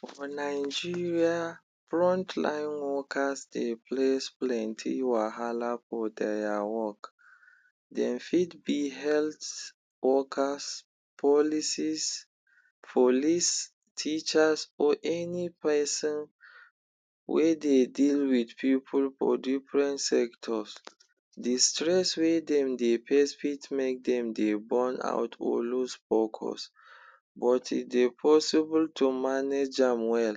For Nigeria, front line workers dey place plenty wahala for dia work. Dem fit be health workers, policies, police, teachers or any peson wey dey deal with pipu for different sectors. The stress wey dem dey face fit make dem dey burnout or lose focus, but e dey possible to manage am well.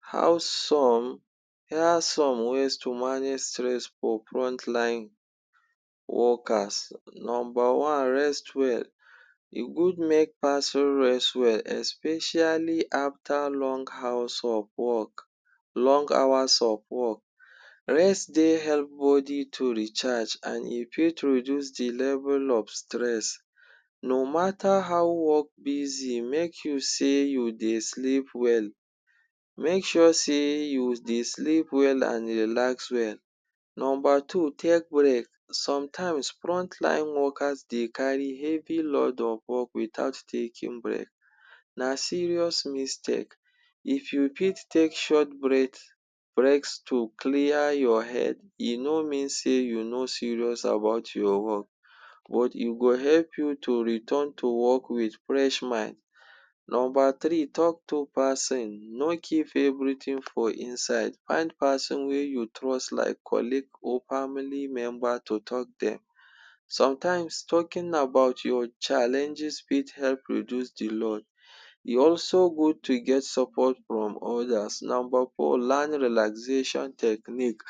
How some. Here are some ways to manage stress for front line workers: Nomba one, rest well. E good make peson rest well especially after long house of work, long hours of work. Rest dey help body to recharge, an e fit reduce the level of stress. No matter how work busy, make you sey you dey sleep well. Make sure sey you dey sleep well an relax well. Nomba two, take break. Sometimes, front line workers dey carry heavy load of work without taking break. Na serious mistake. If you fit take short breath breaks to clear your head, e no mean sey you no serious about your work, but e go help you to return to work with fresh mind. Nomba three, talk to peson. No keep everything for inside. Find peson wey you trust like colleague or family member to talk dem. Sometimes, talking about your challenges fit help reduce the load. E also good to get support from others. Nomba four, learn relaxation technique.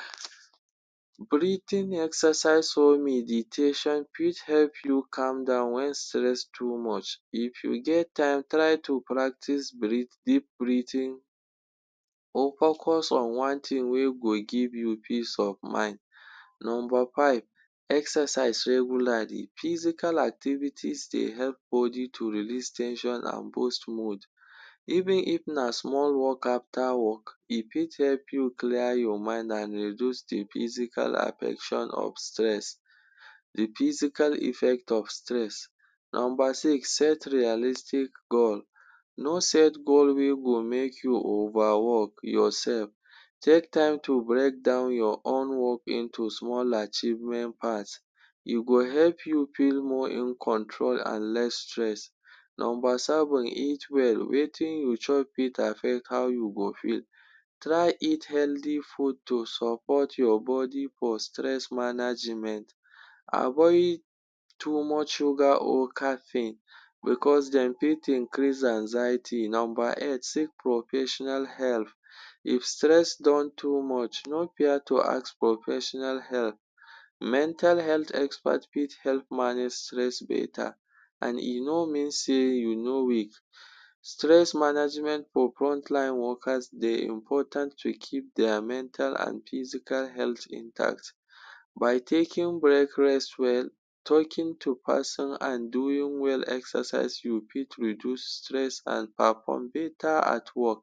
Breathing exercise or meditation fit help you calm down wen stress too much. If you get time, try to practice breathe, deep breathing or focus on one tin wey go give you peace of mind. Nomba five, exercise regularly. Physical activities dey help body to release ten sion an boost mood. Even if na small walk after work, e fit help you clear your mind an reduce the physical affection of stress, the physical effect of stress. Nomba six, set realistic goal. No set goal wey go make you overwork yoursef. Take time to break down your own work into small achievement. You go help you feel more in control an less stress. Nomba seven, eat well. Wetin you chop fit affect how you go feel. Try eat healthy food to support your body for stress management. Avoid too much sugar or caffeine becos dem fit increase anxiety. Nomba eight, seek professional help. If stress don too much, no fear to ask professional help. Mental health expert fit help manage stress beta, an e no mean sey you no weak. Stress management for front line workers dey important to keep dia mental an physical health in tact. By taking break, rest well, talking to peson, an doing well exercise, you fit reduce stress an perform beta at work.